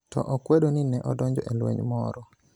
To okwedo ni ne odonjo e lweny moro